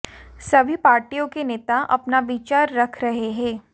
सभी पार्टियों के नेता अपना विचार रख रहे हैं